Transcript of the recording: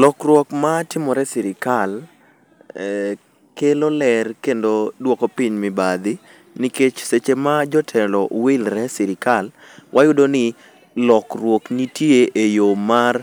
Lokruok ma timore e sirikal, kelo ler kendo dwoko piny mibadhi. Nikech seche ma jotelo wilre e sirikal, wayudo ni lokruok nitie e yo mar